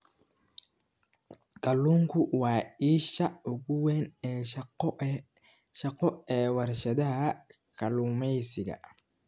Kalluunku waa isha ugu weyn ee shaqo ee warshadaha kalluumeysiga.